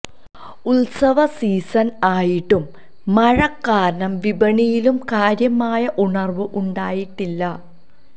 ഉത്സവ സീസണ് ആയിട്ടും മഴ കാരണം വിപണിയിലും കാര്യമായ ഉണര്വ്വ് ഉണ്ടായിട്ടില്ല